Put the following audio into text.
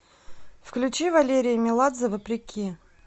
включи валерия меладзе вопреки